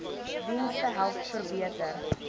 dienste help verbeter